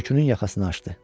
Kürkünün yaxasını açdı.